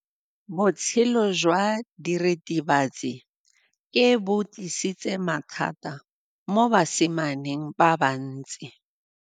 Botshelo jwa diritibatsi ke bo tlisitse mathata mo basimaneng ba bantsi.